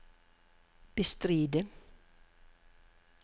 bestride